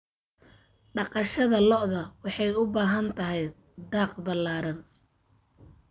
Dhaqashada lo'da lo'da waxay u baahan tahay daaq ballaaran.